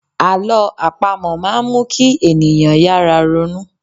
Àlọ́ àpamọ máa n mu kí ènìyàn yára ronú